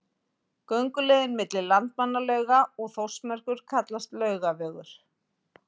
Gönguleiðin milli Landmannalauga og Þórsmerkur kallast Laugavegur.